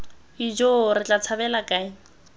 ijoo re tla tshabela kae